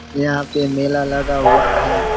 यहां पे मेला लगा हुआ है।